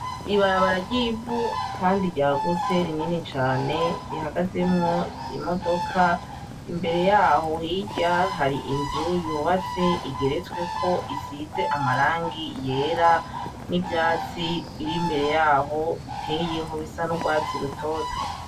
Ibarabara ry'ivu kandi ryagutse, rinini cane rihagazemwo imodoka, imbere y'aho hirya, hari inzu yubatse igeretsweko isize ama rangi yera n'ivyatsi biri imbere y'aho biteyeho bisa n'urwatsi rutoto.